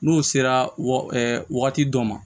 N'u sera wa wagati dɔ ma